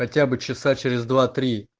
хотя бы часа через два три